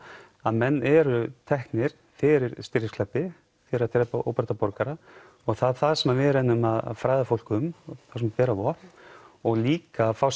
að menn eru teknir fyrir stríðsglæpi fyrir óbreytta borgara og það er það sem við reynum að fræða fólk um þá sem bera vopn og líka fá